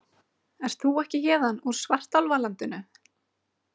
Ert þú ekki héðan úr svartálfalandinu?